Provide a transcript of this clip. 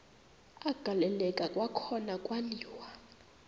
agaleleka kwakhona kwaliwa